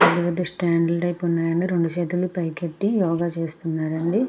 ఇక్కడ అదో stand type ఉన్నాయండి రెండు చేతులు పైకెత్తి యోగ చేస్తున్నారండి.